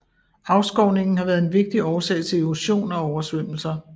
Afskovningen har været en vigtig årsag til erosion og oversvømmelser